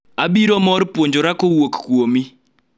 abiro mor puonjora kowuok kuomi